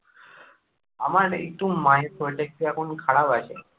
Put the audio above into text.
আমার একটু মায়ের শরীরটা একটু এখন খারাপ আছে